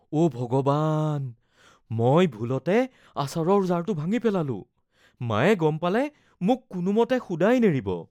অ’ ভগৱান, মই ভুলতে আচাৰৰ জাৰটো ভাঙি পেলালোঁ। মায়ে গম পালে মোক কোনোমতে শুদাই নেৰিব।